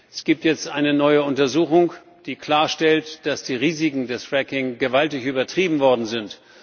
Es gibt jetzt eine neue Untersuchung, die klarstellt, dass die Risiken des Fracking gewaltig übertrieben worden sind.